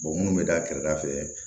minnu bɛ da kɛrɛda fɛ